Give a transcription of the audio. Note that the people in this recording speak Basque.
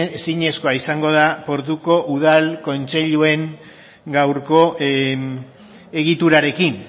ezinezkoa izango da portuko udal kontseiluen gaurko egiturarekin